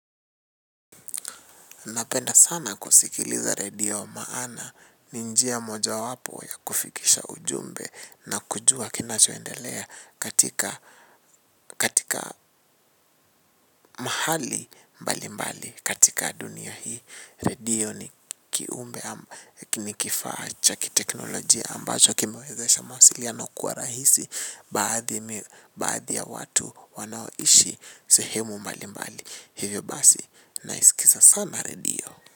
Napenda sana kusikiliza radio maana ni njia mojawapo ya kufikisha ujumbe na kujua kinachoendelea katika mahali mbalimbali katika dunia hii. Radio ni kiumbe ni kifaa cha kiteknolojia ambacho kimewezesha mawasiliano kuwa rahisi baadhi ya watu wanaoishi sehemu mbali mbali. Hivyo basi naisikiza sana radio.